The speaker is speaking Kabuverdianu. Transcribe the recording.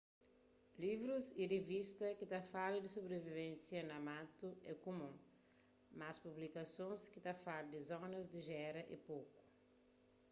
livrus y rivistas ki ta fala di sobrivivensia na matu é kumun mas publikasons ki ta fala di zonas di géra é poku